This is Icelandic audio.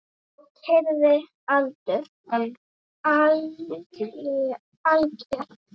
Og kyrrðin algjör.